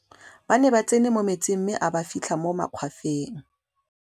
ba ne ba tsene mo metsing mme a ba fitlha mo magwafeng